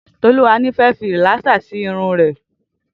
Toluwani fè fi rilàsá si irùn rè